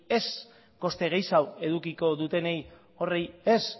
ez koste gehiago edukiko dutenei horiei ez